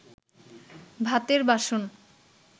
ভাতের বাসন